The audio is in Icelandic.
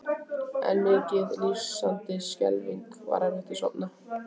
En mikið lifandis skelfing var erfitt að sofna.